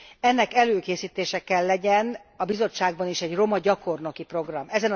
Ennek előkészítéseként kell lennie a Bizottságban is egy roma gyakornoki programnak.